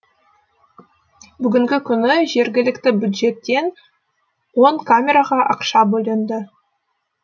бүгінгі күні жергілікті бюджеттен он камераға ақша бөлінді